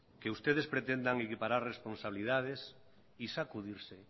que ustedes pretendan equiparar responsabilidades y sacudirse